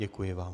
Děkuji vám.